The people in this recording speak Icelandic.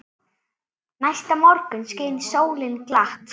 Næsta morgun skein sólin glatt.